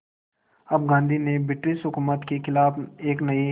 अब गांधी ने ब्रिटिश हुकूमत के ख़िलाफ़ एक नये